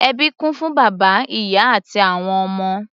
Ẹbí kún fún bàbá, ìyá àti àwọn ọmọ.